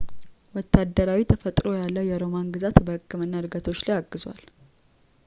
ወታደራዊ ተፈጥሮ ያለው የሮማን ግዛት በሕክምና ዕድገቶች ላይ አግዟል